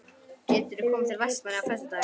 Geturðu komið til Vestmannaeyja á föstudaginn?